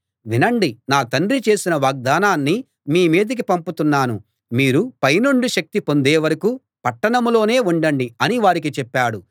వినండి నా తండ్రి చేసిన వాగ్దానాన్ని మీ మీదికి పంపుతున్నాను మీరు పైనుండి శక్తి పొందే వరకూ పట్టణంలోనే ఉండండి అని వారికి చెప్పాడు